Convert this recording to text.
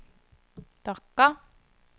Dhaka